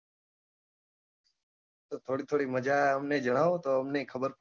તો થોડી થોડી મજા અમને જણાવો તો અમને એ ખબર પડે